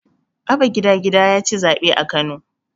Abba gida-gida yaci zaɓe a Kano.